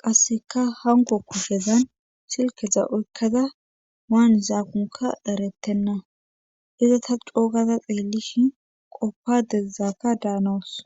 qasseka hango kushezan silkeza uykkada waan zaakunka eretenna iza ta coogada xeelishin qoppa dezaaka daanosona